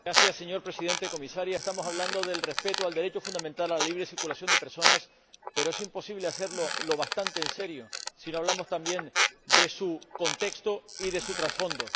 Señor Presidente, Comisario, estamos hablando del respeto del derecho fundamental a la libre circulación de personas, pero es imposible hacerlo lo bastante en serio si no hablamos también de su contexto y de su trasfondo.